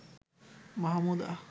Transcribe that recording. Mahmuda.